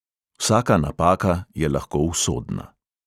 Vsaka napaka je lahko usodna.